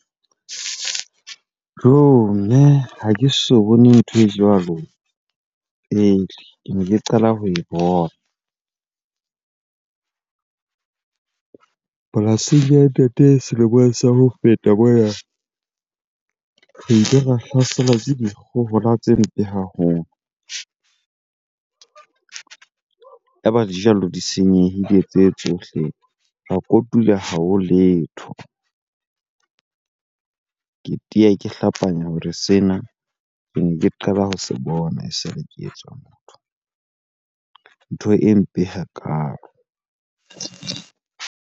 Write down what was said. Joh! Mme ha ke so bone ntho e jwalo pele, kene ke qala ho e bona. Polasing ya ntate selemong sa ho feta mona, re ile ra hlaselwa ke dikgohola tse mpe haholo. Ya ba dijalo di senyehile tse tsohle, ra kotula ha ho letho. Ke teya, ke hlapanya hore sena kene ke qala ho se bona e sale ke etswa motho. Ntho e mpe hakalo.